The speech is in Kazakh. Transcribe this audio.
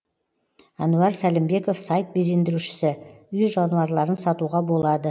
әнуар сәлімбеков сайт безендірушісі үй жануарларын сатуға болады